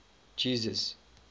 jesus